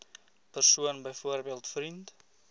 persoon byvoorbeeld vriend